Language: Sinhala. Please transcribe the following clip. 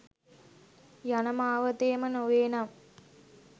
යන මාවතේම නොවේ නම්